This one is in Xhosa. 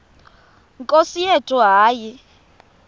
nkosi yethu hayi